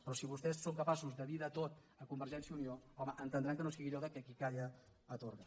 però si vostès són capaços de dir de tot a convergència i unió home entendran que no sigui allò de qui calla atorga